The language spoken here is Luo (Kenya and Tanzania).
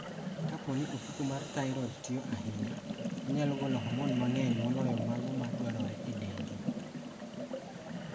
Kapo ni ofuko mar thyroid tiyo ahinya, onyalo golo hormone mang'eny moloyo mago ma dwarore e dendi.